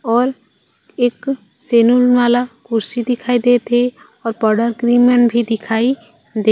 और एक सलून वाला कुर्सी दिखई देत हे और पाउडर क्रीम मन भी दिखाई देत--